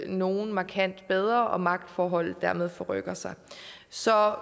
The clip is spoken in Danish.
nogle markant bedre og at magtforholdet derved forrykker sig så